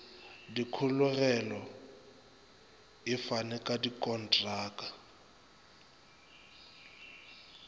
dikholego e fane ka dikontraka